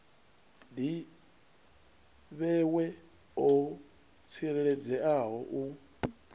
ḓi vhewe ho tsireledzeaho u